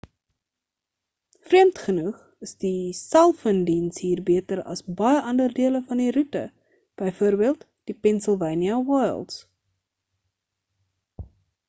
vreemd genoeg is die selfoondiens hier beter as baie ander dele van die roete bv die pennsylvania wilds